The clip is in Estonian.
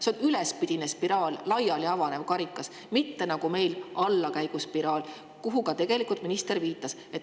See on ülespidine spiraal, justkui karikas, mitte nagu meil – allakäiguspiraal –, millele ka tegelikult minister viitas.